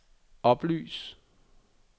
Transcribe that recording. oplys